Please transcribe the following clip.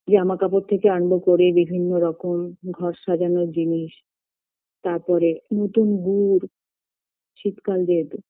জামাকাপড় থেকে আরম্ভ করে বিভিন্ন রকম ঘর সাজানোর জিনিস তারপরে নতুন গুর শীত কাল যেহেতু